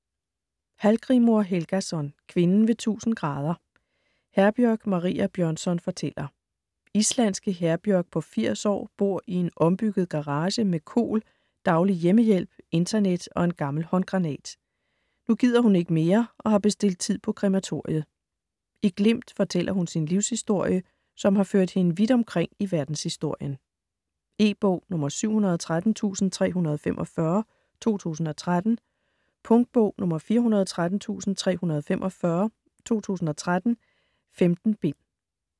Hallgrímur Helgason: Kvinden ved 1000°: Herbjørg Maria Bjørnsson fortæller Islandske Herbjörg på 80 år bor i en ombygget garage med KOL, daglig hjemmehjælp, internet og en gammel håndgranat. Nu gider hun ikke mere og har bestilt tid på krematoriet. I glimt fortæller hun sin livshistorie, som har ført hende vidt omkring i verdenshistorien. E-bog 713345 2013. Punktbog 413345 2013. 15 bind.